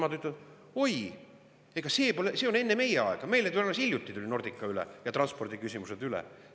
Aga nemad ütlesid: "Oi, see oli enne meie aega, meile tulid alles hiljuti Nordica ja transpordiküsimused üle.